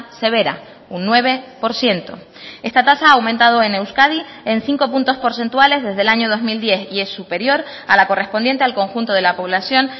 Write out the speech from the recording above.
severa un nueve por ciento esta tasa ha aumentado en euskadi en cinco puntos porcentuales desde el año dos mil diez y es superior a la correspondiente al conjunto de la población